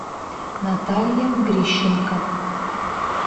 наталья грищенко